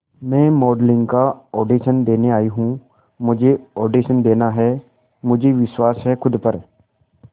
मैं मॉडलिंग का ऑडिशन देने आई हूं मुझे ऑडिशन देना है मुझे विश्वास है खुद पर